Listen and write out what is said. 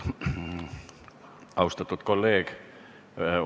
Austatud kolleeg!